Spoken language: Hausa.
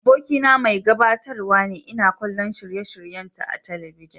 Abokina mai gabatarwa ne, ina kallon shirye-shiryenta a talabijin.